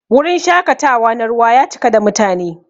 Wurin shakatawa na ruwa ya cika da mutane.